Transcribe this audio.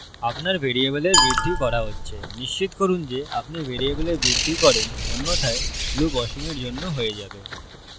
আপনার ভ্যারিয়েবলের বৃদ্ধি করা হচ্ছে নিশ্চিত করুন যে আপনি ভ্যারিয়েবলের বৃদ্ধি করেন অন্যথায় loop অসীমের জন্য হয়ে যাবে